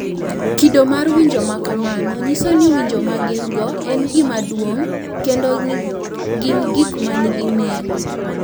Kido mar winjo ma kamano nyiso ni winjo ma gin-go en gima duong’ kendo ni gin gik ma nigi nengo, .